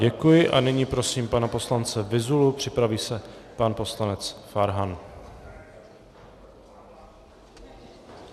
Děkuji, a nyní prosím pana poslance Vyzulu, připraví se pan poslanec Farhan.